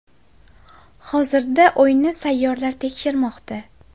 Hozirda uyni sapyorlar tekshirmoqda.